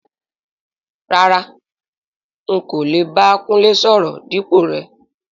Rárá,n kò lè bá Kúnlé sọ̀rọ̀ dípò rẹ.